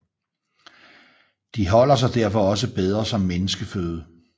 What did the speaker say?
De holder sig derfor også bedre som menneskeføde